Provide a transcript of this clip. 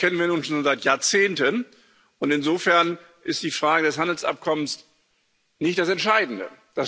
Das kennen wir nun schon seit Jahrzehnten, und insofern ist die Frage des Handelsabkommens nicht das Entscheidende.